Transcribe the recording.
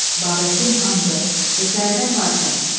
Babəkin andı. Hekayədən parça.